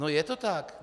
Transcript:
No je to tak.